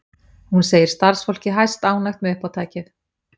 Hún segir starfsfólkið hæstánægt með uppátækið